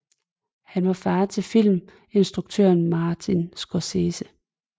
Han var far til filminstrukøren Martin Scorsese